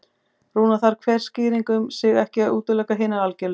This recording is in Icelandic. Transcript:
Raunar þarf hver skýring um sig ekki að útiloka hinar algerlega.